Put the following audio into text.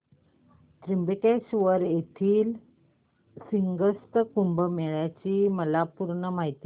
त्र्यंबकेश्वर येथील सिंहस्थ कुंभमेळा ची मला पूर्ण माहिती सांग